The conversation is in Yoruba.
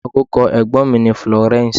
Orúkọ ẹ̀gbọ́n mi ni Florence.